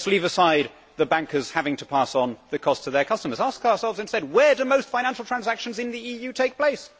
let us leave aside the bankers having to pass on the cost to their customers. Ask ourselves and say where do most financial transactions in the EU take place?